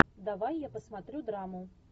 давай я посмотрю драму